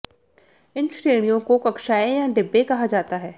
इन श्रेणियों को कक्षाएं या डिब्बे कहा जाता है